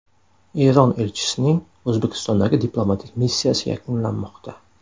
Eron elchisining O‘zbekistondagi diplomatik missiyasi yakunlanmoqda.